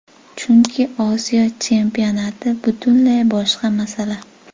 Chunki Osiyo Chempionati butunlay boshqa masala.